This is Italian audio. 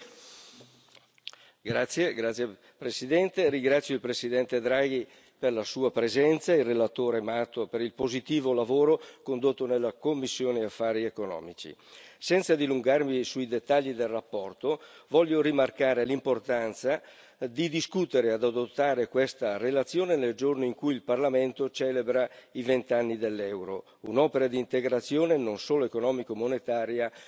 Signor Presidente, onorevoli colleghi, ringrazio il presidente Draghi per la sua presenza e il relatore Mato per il positivo lavoro condotto nella commissione per i problemi economici e monetari. Senza dilungarmi sui dettagli della relazione, voglio rimarcare l'importanza di discutere e adottare questa relazione nel giorno in cui il Parlamento celebra i vent'anni dell'euro, un'opera di integrazione non solo economica e monetaria